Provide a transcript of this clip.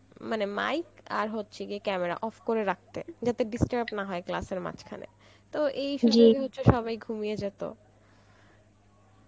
মানে mic আর হচ্ছে গিয়ে camera off করে রাখতে, যাতে disturb না হয় class এর মাজঘানে তো এই সবাই ঘুমিয়ে যেত